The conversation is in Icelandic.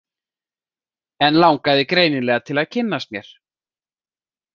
En langaði greinilega til að kynnast mér.